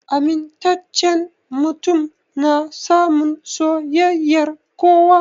Amintacen mutum na samun soyayyar kowa